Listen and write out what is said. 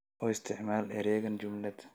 u isticmaal eraygan jumlad